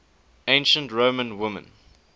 ancient roman women